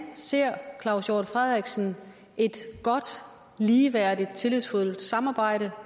ser claus hjort frederiksen et godt ligeværdigt tillidsfuldt samarbejde